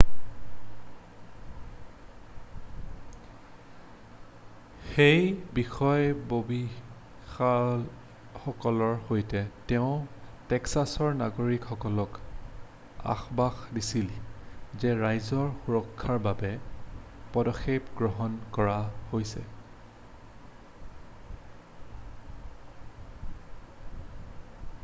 সেই বিষয়ববীয়াসকলৰ সৈতে তেওঁ টেক্সাছৰ নাগৰিকসকলক আশ্বাস দিছিল যে ৰাইজৰ সুৰক্ষাৰ বাবে পদক্ষেপ গ্ৰহণ কৰা হৈছে